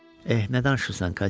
Eh, nə danışırsan, Katya?